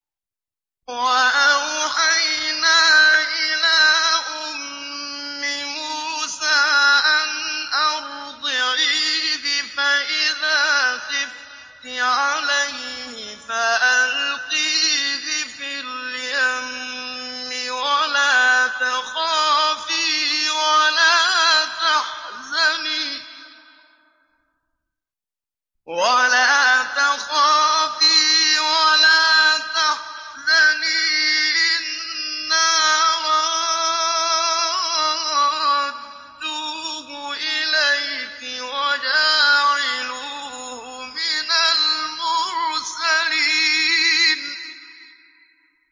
وَأَوْحَيْنَا إِلَىٰ أُمِّ مُوسَىٰ أَنْ أَرْضِعِيهِ ۖ فَإِذَا خِفْتِ عَلَيْهِ فَأَلْقِيهِ فِي الْيَمِّ وَلَا تَخَافِي وَلَا تَحْزَنِي ۖ إِنَّا رَادُّوهُ إِلَيْكِ وَجَاعِلُوهُ مِنَ الْمُرْسَلِينَ